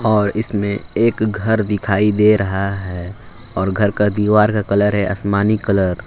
और इसमें एक घर दिखाई दे रहा है और घर का दीवार का कलर है आसमानी कलर ।